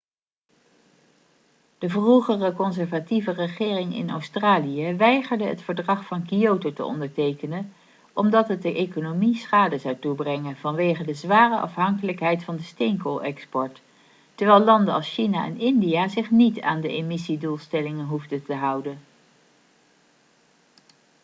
de vroegere conservatieve regering in australië weigerde het verdrag van kyoto te ondertekenen omdat het de economie schade zou toebrengen vanwege de zware afhankelijkheid van de steenkoolexport terwijl landen als china en india zich niet aan de emissiedoelstellingen hoefden te houden